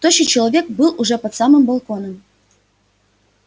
тощий человек был уже под самым балконом